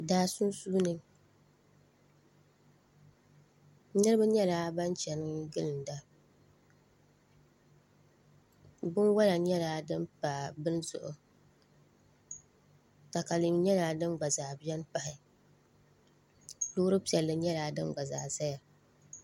Daa sunsuuni niraba nyɛla ban chɛni gilinda binwola nyɛla din pa bini zuɣu katalɛm nyɛla din gba biɛni pahi loori piɛlli nyɛla din gba zaa ʒɛya